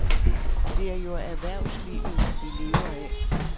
Det er jo erhvervslivet vi lever af.